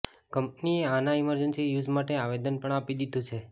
કંપનીએ આના emergency use માટે આવેદન પણ આપી દીધુ છે